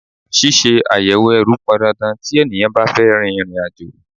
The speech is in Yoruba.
Ṣíṣe àyẹ̀wò ẹrù pọn dandan tí ènìyàn bá fẹ́ rin ìrìn àjò.